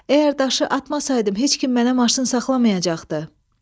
Əgər daşı atmasaydım, heç kim mənə maşın saxlamayacaqdı.